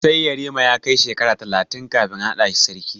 Sai yarima ya kai shekara talatin kafin a naɗa shi sarki.